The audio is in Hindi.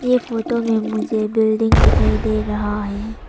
ये फोटो में मुझे बिल्डिंग दिखाई दे रहा है।